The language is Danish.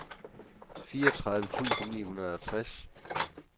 fireogtredive tusind ni hundrede og tres